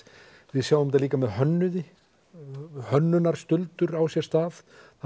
við sjáum til dæmis líka með hönnuði hönnuði á sér stað það